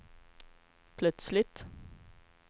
plötsligt